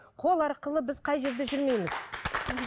қол арқылы біз қай жерде жүрмейміз